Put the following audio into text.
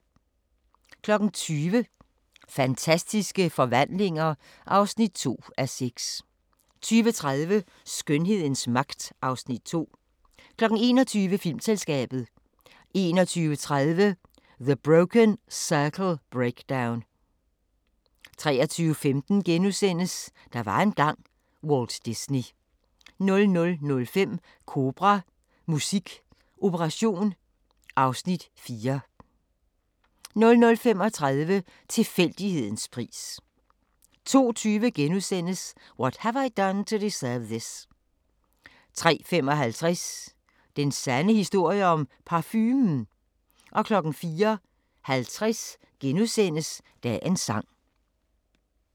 20:00: Fantastiske forvandlinger (2:6) 20:30: Skønhedens magt (Afs. 2) 21:00: Filmselskabet 21:30: The Broken Circle Breakdown 23:15: Der var engang – Walt Disney * 00:05: Kobra – Musik operation (Afs. 4) 00:35: Tilfældighedens pris 02:20: What Have I Done to Deserve This? * 03:55: Den sande historie om parfumen? 04:50: Dagens Sang *